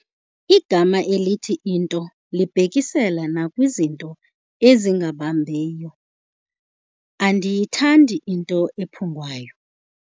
Igama elithi into libhekisela nakwizinto ezingabambeiyo. andiyithandi into ephungwayo